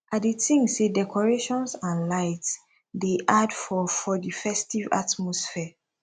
i dey think say decorations and lights dey add for for di festive atmosphere